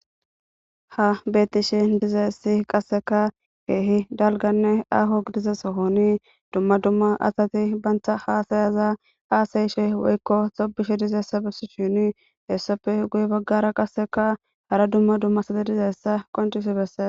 Ha bettishe dizassi qasseka keehi dalganne aho gidizesohoni dumma dumma asati bantha hasayaza aasayishe woykko xobishe dizeessa besi shini hessappe guye baggara qasseka hara dumma dumma side dizayssa qontifibesse.